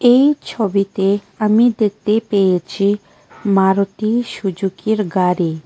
এই ছবিতে আমি দেখতে পেয়েছি মারুতি সুজুকি এর গাড়ি।